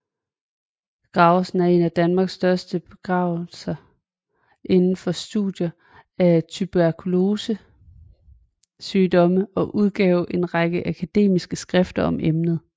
Graversen var en af Danmarks største begavelser inden for studiet af tuberkulosesygdomme og udgav en række akademiske skrifter om emnet